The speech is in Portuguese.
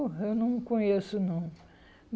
Eu não conheço, não.